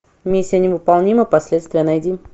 миссия невыполнима последствия найди